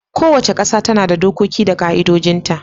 Kowace kasa tana da dokoki da ka'idojin ta